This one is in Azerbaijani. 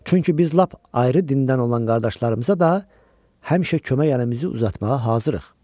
Çünki biz lap ayrı dindən olan qardaşlarımıza da həmişə kömək əlimizi uzatmağa hazırıq.